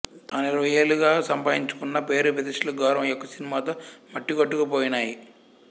తాను ఇరవైయేళ్ళుగా సంపాయించుకున్న పేరు ప్రతిష్టలు గౌరవం ఈ ఒక్క సినిమా తో మట్టికొట్టుకు పోయినై